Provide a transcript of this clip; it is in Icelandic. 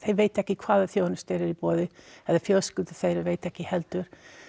vita ekki hvaða þjónusta er er í boði eða fjölskyldur þeirra vita það ekki heldur